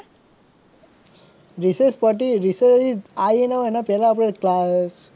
રિશેષ પડી રિશેષ આયી ના હોય એના પહેલા આપડે